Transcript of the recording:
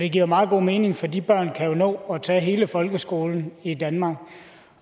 det giver meget god mening for de børn kan jo nå at tage hele folkeskolen i danmark